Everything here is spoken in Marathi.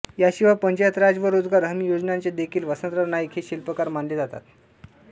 याशिवाय पंचायत राज व रोजगार हमी योजनाचे देखील वसंतराव नाईक हे शिल्पकार मानले जातात